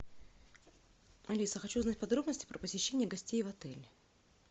алиса хочу узнать подробности про посещение гостей в отеле